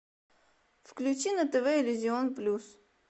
включи на тв иллюзион плюс